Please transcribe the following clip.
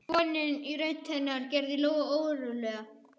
Björt vonin í rödd hennar gerði Lóu órólega.